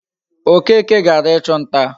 Okeke gara ichu nta